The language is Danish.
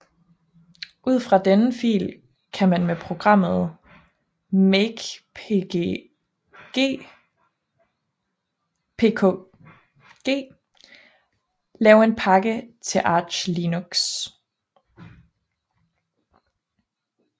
Ud fra denne fil kan man med programmet makepkg lave en pakke til Arch Linux